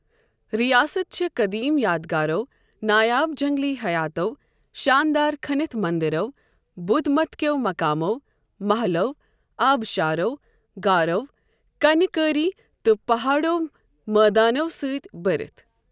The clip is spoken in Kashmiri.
رِیاسَت چھےٚ قٔدیٖم یادگارو، نایاب جنٛگلی حیاتو، شانٛدار کھٔنِتھ مٔنٛدِرو، بُدھ مت کٮ۪و مقامَو، مَحلَو، آبشارو، غارو، کَنہِ کٲری تہٕ پہٲڑِو مٲدانَو سۭتۍ بٔرِتھ ۔